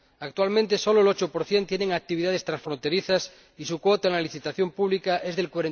Actualmente, sólo el 8 tiene actividades transfronterizas y su cuota en la licitación pública es del